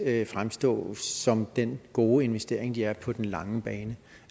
at fremstå som den gode investering de er på den lange bane